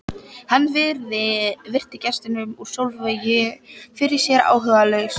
Hann virti gestinn úr Selvogi fyrir sér áhugalaus.